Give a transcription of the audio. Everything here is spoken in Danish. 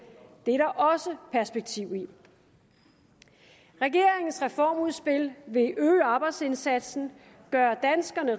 det er der også perspektiv i regeringens reformudspil vil øge arbejdsindsatsen gøre danskerne